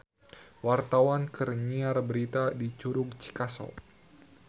Wartawan keur nyiar berita di Curug Cikaso